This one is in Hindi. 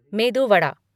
मेदू वादा